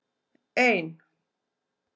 ein